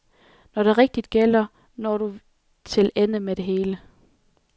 Når det rigtig gælder, når du til ende med det.